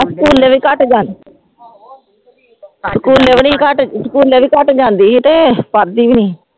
ਸਕੂਲੇ ਵੀ ਘੱਟ ਜਾਂਦੀ ਸਕੂਲੇ ਵੀ ਨੀ ਘੱਟ ਸਕੂਲੇ ਵੀ ਘੱਟ ਜਾਂਦੀ ਸੀ ਤੇ ਪੜ੍ਹਦੀ ਵੀ ਨੀ।